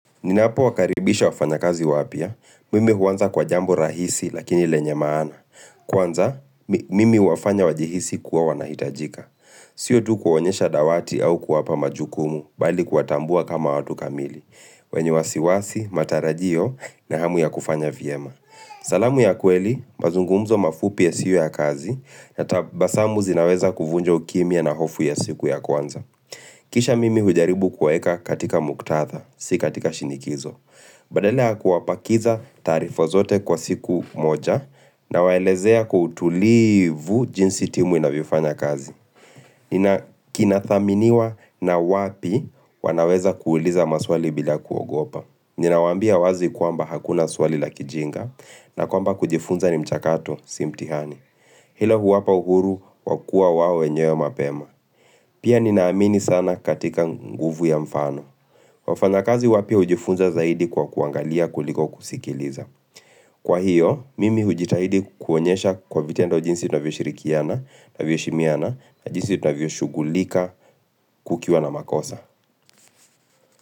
Ninapowakaribisha wafanya kazi wapya, mimi huanza kwa jambo rahisi lakini lenye maana. Kwanza, mimi huwafanya wajihisi kuwa wanahitajika. Sio tu kuonyesha dawati au kuwapa majukumu bali kuwatambua kama watu kamili. Wenye wasiwasi, matarajio na hamu ya kufanya vyema. Salamu ya kweli, mazungumzo mafupi yasio ya kazi, na tabasamu zinaweza kuvunja ukimia na hofu ya siku ya kwanza. Kisha mimi hujaribu kuwaeka katika muktadha, si katika shinikizo. Badala yakuwapakiza taarifa zote kwa siku moja nawaelezea kwa utulivu jinsi timu inavyofanya kazi. Kinathaminiwa na wapi wanaweza kuuliza maswali bila kuogopa. Ninawaambia wazi kwamba hakuna swali la kijinga na kwamba kujifunza ni mchakato si mtihani. Hilo huwapa uhuru wakua wao wenyewe mapema Pia ninaamini sana katika nguvu ya mfano Wafanakazi wapya hujifunza zaidi kwa kuangalia kuliko kusikiliza Kwa hiyo, mimi hujitahidi kuonyesha kwa vitendo jinsi tunavyoshirikiana navyo heshimiana na jinsi tunavyoshughulika kukiwa na makosa.